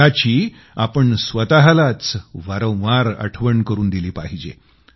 याची आपण स्वतःलाच वारंवार आठवण करून दिली पाहिजे